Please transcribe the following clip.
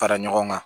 Fara ɲɔgɔn kan